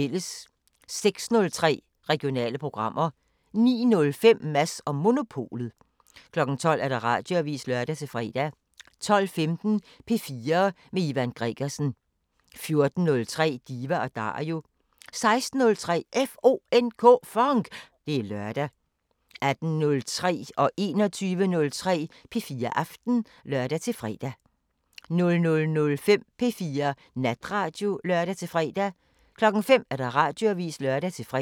06:03: Regionale programmer 09:05: Mads & Monopolet 12:00: Radioavisen (lør-fre) 12:15: P4 med Ivan Gregersen 14:03: Diva & Dario 16:03: FONK! Det er lørdag 18:03: P4 Aften (lør-søn) 21:03: P4 Aften (lør-fre) 00:05: P4 Natradio (lør-fre) 05:00: Radioavisen (lør-fre)